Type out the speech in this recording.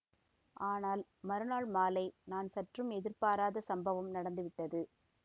ஆனால் மறுநாள் மாலை நான் சற்றும் எதிர்பாராத சம்பவம் நடந்துவிட்டது